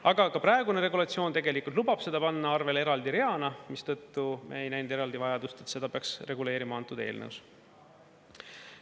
Aga ka praegune regulatsioon tegelikult lubab seda panna arvel eraldi reana, mistõttu me ei näinud eraldi vajadust, et seda peaks reguleerima antud eelnõus.